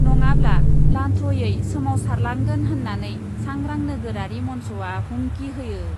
नङाब्ला लान्थ्रयै सोमावसारलांगोन होन्नानै सांग्रां नोगोरारि मन्चआ हुमखि होयो ।